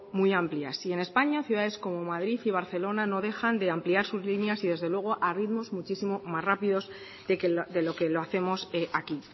muy amplias y en españa ciudades como madrid y barcelona no dejan de ampliar sus líneas y desde luego a ritmos muchísimo más rápidos de lo que lo hacemos aquí